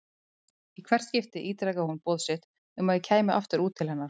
Í hvert skipti ítrekaði hún boð sitt um að ég kæmi aftur út til hennar.